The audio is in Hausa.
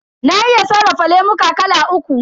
Na iya sarrafa lemuka kala uku.